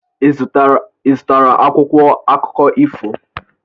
Ị zụtara akwụkwọ akụkọ ifo?